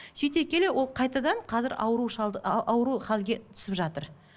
сөйте келе ол қайтадан қазір ауру шалды ауру халге түсіп жатыр